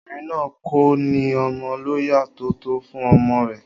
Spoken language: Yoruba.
Obìnrin náà kò ní ọmọ lọ́yàn tó tó fún ọmọ rẹ̀